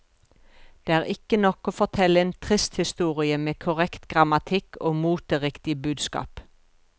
Det er ikke nok å fortelle en trist historie med korrekt grammatikk og moteriktig budskap.